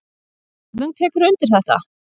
Auðunn tekur undir þetta.